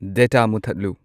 data ꯃꯨꯊꯠꯂꯨ